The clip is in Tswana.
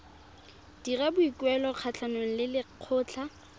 dira boikuelo kgatlhanong le lekgotlha